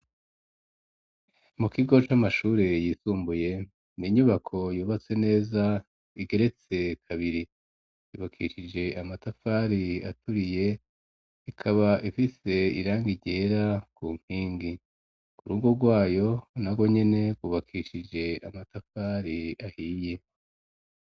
Mu kigo c'amashuri yisumbuye n'inyubako yubatse neza igeretse kabiri yubakishije amatafari aturiye ikaba ifise irangi ryera ku nkingi, urugo rwayo nago nyene rwubakishije amatafari ahiye.